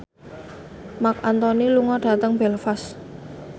Marc Anthony lunga dhateng Belfast